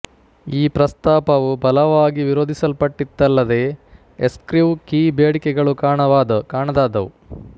ಈ ಪ್ರಸ್ತಾಪವು ಬಲವಾಗಿ ವಿರೋಧಿಸಲ್ಪಟ್ಟಿತಲ್ಲದೇ ಎಸ್ಕ್ರಿವ್ ಕೀ ಬೇಡಿಕೆಗಳು ಕಾಣದಾದವು